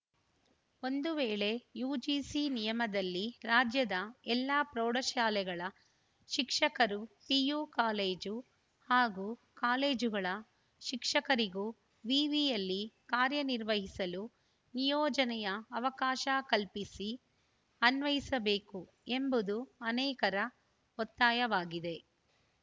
ಒಂದು ವೇಳೆ ಯುಜಿಸಿ ನಿಯಮದಲ್ಲಿ ರಾಜ್ಯದ ಎಲ್ಲ ಪ್ರೌಢಶಾಲೆಗಳ ಶಿಕ್ಷಕರು ಪಿಯು ಕಾಲೇಜು ಹಾಗೂ ಕಾಲೇಜುಗಳ ಶಿಕ್ಷಕರಿಗೂ ವಿವಿಯಲ್ಲಿ ಕಾರ್ಯನಿರ್ವಹಿಸಲು ನಿಯೋಜನೆಯ ಅವಕಾಶ ಕಲ್ಪಿಸಿ ಅನ್ವಯಿಸಬೇಕು ಎಂಬುದು ಅನೇಕರ ಒತ್ತಾಯವಾಗಿದೆ